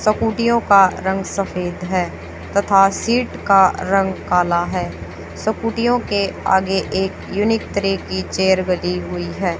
स्कूटीयों का रंग सफेद है तथा सीट का रंग काला है स्कूटीयों के आगे एक यूनिक तरह की चेयर लगी हुई है।